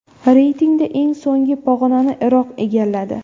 Reytingda eng so‘nggi pog‘onani Iroq egalladi.